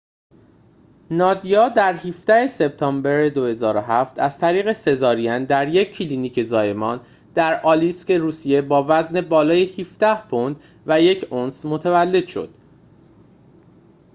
نادیا در ۱۷ سپتامبر ۲۰۰۷ از طریق سزارین در یک کلینیک زایمان در آلیسک روسیه با وزن بالای ۱۷ پوند و ۱ اونس متولد شد